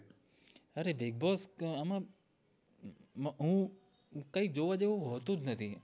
અરે bigboss આમ હું કય જોવા જેવું હોતું જ નથી